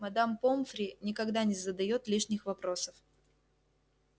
мадам помфри никогда не задаёт лишних вопросов